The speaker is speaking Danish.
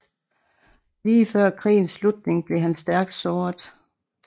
Lige før krigens slutning blev han stærkt såret